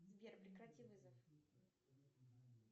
сбер прекрати вызов